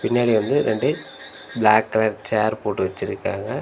பின்னாடி வந்து ரெண்டு பிளாக் கலர் சேர் போட்டு வெச்சிருக்காங்க.